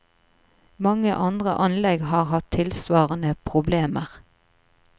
Mange andre anlegg har hatt tilsvarende problemer.